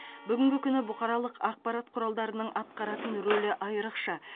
бүгін күні бұқаралық ақпарат құралдарының атқаратын рөлі айрықша